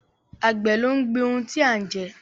Àgbẹ̀ ló ń gbin ohun tí a ń jẹ